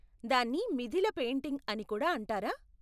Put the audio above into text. దాన్ని మిథిల పెయింటింగ్ అని కూడా అంటారా?